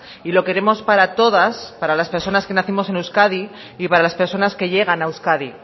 y lo queremos para todas para las personas que nacimos en euskadi y para las personas que llegan a euskadi